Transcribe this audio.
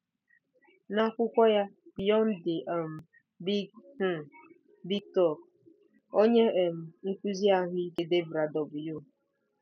N'akwụkwọ ya Beyond the um Big um Big Talk, onye um nkụzi ahụike Debra W.